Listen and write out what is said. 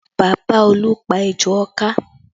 Bàbá Olú pá ejò ọká